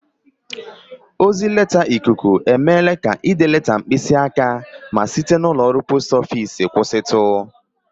Ozi leta ikuku emeela ka ide leta mkpịsị aka ma site n'ụlọọrụ post ofiisi kwụsịtụ